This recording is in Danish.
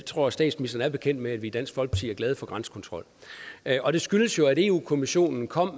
tror statsministeren er bekendt med at vi i dansk folkeparti er glade for grænsekontrol og det skyldes jo at eu kommissionen kom